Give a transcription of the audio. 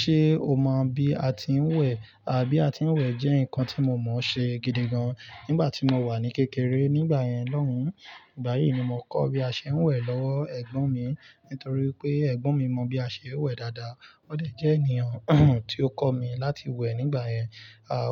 Ṣé o mọ bí a ti ń wẹ̀? Bí a ti ń wẹ̀ jẹ́ nǹkan tí mo mọ̀ ṣe gidigan nígbà tí mo wà ní kékeré. Nígbà yẹn lóhùn. Ìgbà yìí ni mo kọ́ bí a ṣe ń wẹ̀ lọ́wọ́ ẹ̀gbọ́n mi nítorí pé ẹ̀gbọ́n mi mọ bí a ṣe ń wẹ̀ dáadáa. Ó dẹ̀ jẹ́ ènìyàn tí ó kọ́ mi láti wẹ̀ nígbà yẹn.